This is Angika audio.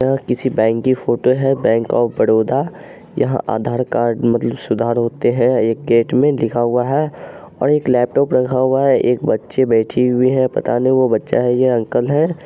यह किसी बैंक की फोटो है बैंक ऑफ बड़ौदा यहां आधार कार्ड मतलब सुधार होते हैं एक गेट में लिखा हुआ है और एक लैपटॉप रखा हुआ है एक बच्ची बैठी हुई है पता नहीं वह बच्चा है कि अंकल है।